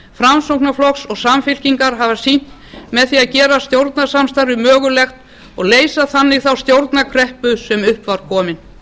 framsóknarflokks og samfylkingar hafa sýnt með því að gera stjórnarsamstarfið mögulegt og leysa þannig þá stjórnarkreppu sem upp var komin